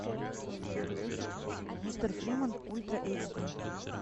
мистер фриман ультра эйч ди